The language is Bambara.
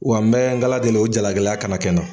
Wa n bɛ nkala deli o jalakila kana kɛ n na.